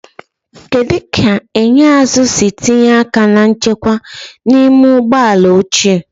Kedu ka enyo azụ si tinye aka na nchekwa n'ime ụgbọ ala ochie?